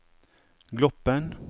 Gloppen